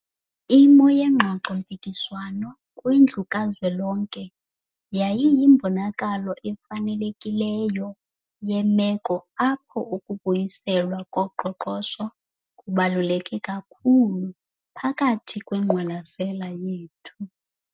Imo yengxoxo-mpikiswano kwiNdlu kaZwelonke yayiyimbonakalo efanelekileyo yemeko apho ukubuyiselwa koqoqosho kubaluleke kakhulu phakathi kwengqwalasela yethu.